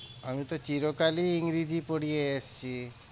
আমি তো চিরকালই ইংরেজি পড়িয়ে এসছি।